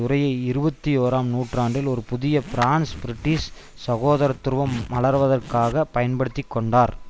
உரையை இருபத்தியோராம் நூற்றாண்டில் ஒரு புதிய பிரான்ஸ்பிரிட்டிஷ் சகோதரத்துவம் மலர்வதற்காக பயன்படுத்தி கொண்டார்